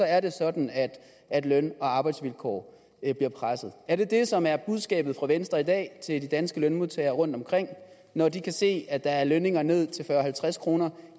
er det sådan at at løn og arbejdsvilkår bliver presset er det det som er budskabet fra venstre i dag til de danske lønmodtagere rundtomkring når de kan se at der er lønninger ned til fyrre til halvtreds kroner